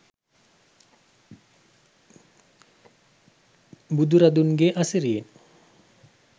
බුදුරදුන්ගේ අසිරියෙන්